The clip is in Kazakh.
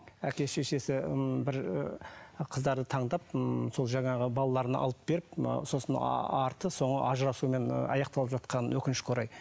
әке шешесі ы бір ы қыздарды таңдап ыыы сол жаңағы балаларына алып беріп ы сосын арты соңы ажырасумен аяқталып жатқанын өкінішке орай